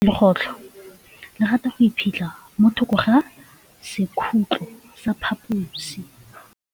Legôtlô le rata go iphitlha mo thokô ga sekhutlo sa phaposi.